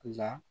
La